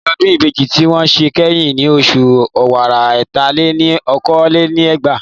Ayẹyẹ Ọdún Ìbejì tí wọ́n ṣe kẹ́yìn ni oṣù ọ̀wàrà ẹ̀ta-lé-ní-okòó lé ní ẹgbàá